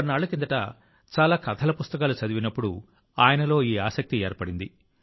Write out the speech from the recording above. కొన్నాళ్ల కిందట చాలా కథల పుస్తకాలు చదివినప్పుడు ఆయనలో ఈ ఆసక్తి ఏర్పడింది